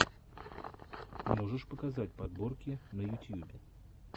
можешь показать подборки на ютьюбе